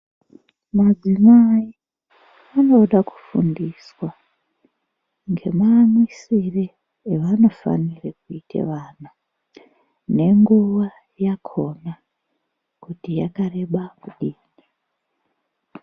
Madzimai, anoda kufundiswa, ngemaamwisire evanofanire kuite vana, nenguva yakhona, kuti yakareba kudini.